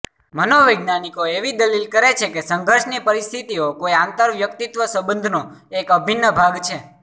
મનોવૈજ્ઞાનિકો એવી દલીલ કરે છે કે સંઘર્ષની પરિસ્થિતિઓ કોઈ આંતરવ્યક્તિત્વ સંબંધનો એક અભિન્ન ભાગ છે